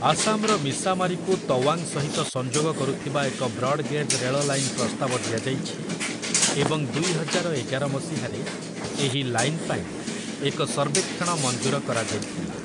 ଆସାମର ମିସାମାରିକୁ ତୱାଙ୍ଗ ସହିତ ସଂଯୋଗ କରୁଥିବା ଏକ ବ୍ରଡ୍ ଗେଜ୍ ରେଳ ଲାଇନ ପ୍ରସ୍ତାବ ଦିଆଯାଇଛି, ଏବଂ ଦୁଇହଜାର ଏଗାର ମସିହାରେ ଏହି ଲାଇନ ପାଇଁ ଏକ ସର୍ବେକ୍ଷଣ ମଞ୍ଜୁର କରାଯାଇଥିଲା ।